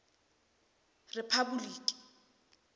rephapoliki